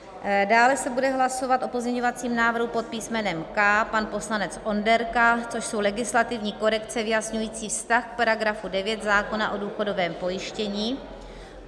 Dále se bude hlasovat o pozměňovacím návrhu pod písmenem K - pan poslanec Onderka, což jsou legislativní korekce vyjasňující vztah k paragrafu 9 zákona o důchodovém pojištění.